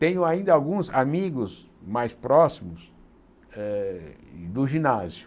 Tenho ainda alguns amigos mais próximos eh do ginásio.